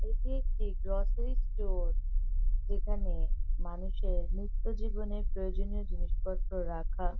এটি একটি grocery store. যেখানে মানুষের নিত্য জীবনের প্রয়োজনীয় জিনিসপত্র রাখা।